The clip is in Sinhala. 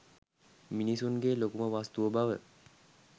මිනිසුන්ගේ ලොකුම වස්තුව බව